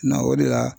Na o de la